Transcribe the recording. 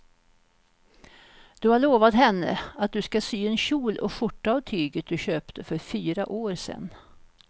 Du har lovat henne att du ska sy en kjol och skjorta av tyget du köpte för fyra år sedan.